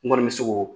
N kɔni bɛ se k'o